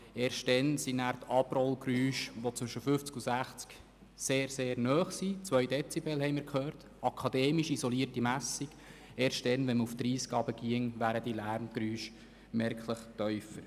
Erst dann wären die Abrollgeräusche, die zwischen 60 km/h und 50 km/h sehr nahe hinkommen – 2 Dezibel, wie wir gehört haben –, gemäss akademisch isolierter Messung merklich tiefer.